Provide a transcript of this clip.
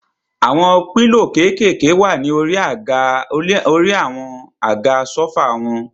Àwọn pílò kékèèké wà ní orí àwọn àga sófà wọn.